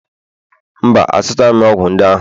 mba, azụtaghị m ọgwụ ndị ahụ